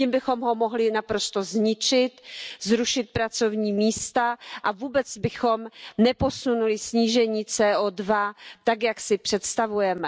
Tím bychom ho mohli naprosto zničit, zrušit pracovní místa a vůbec bychom neposunuli snížení CO2 tak, jak si přestavujeme.